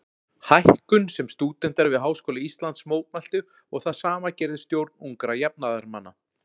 Hækkun sem stúdentar við Háskóla Íslands mótmæltu og það sama gerði stjórn Ungra jafnaðarmanna.